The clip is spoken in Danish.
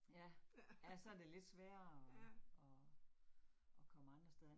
Ja, ja så det lidt sværere at at at komme andre steder hen